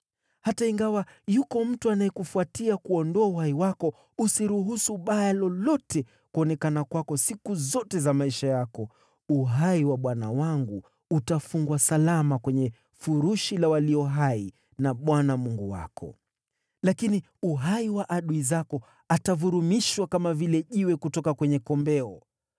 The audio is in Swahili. Hata ingawa yuko mtu anayekufuatia kuuondoa uhai wako, usiruhusu baya lolote kuonekana kwako siku zote za maisha yako, uhai wa bwana wangu utafungwa salama kwenye furushi la walio hai na Bwana Mungu wako. Lakini uhai wa adui zako atavurumishwa kama vile jiwe kutoka kwenye kombeo.